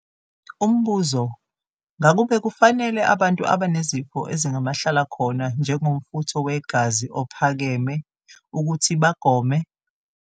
Umbuzo- Ngakube kufanele abantu abanezifo ezingamahlalakhona, njengomfutho wegazi ophakeme, ukuthi bagome?